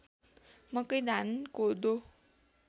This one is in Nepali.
मकै धान कोदो